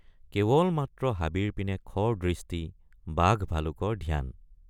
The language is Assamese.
কেৱল মাত্ৰ হাবিৰ পিনে খৰ দৃষ্টি বাঘভালুকৰ ধ্যান।